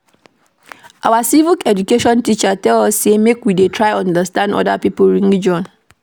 Our Civic Education teacher tell us sey make we dey try understand oda pipo religion.